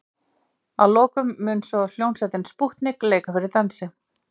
Að lokum mun svo hljómsveitin Spútnik leika fyrir dansi.